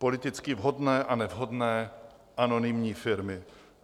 Politicky vhodné a nevhodné anonymní firmy?